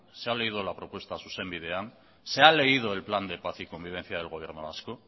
se ha leído la propuesta zuzen bidean se ha leído el plan de paz y convivencia del gobierno vasco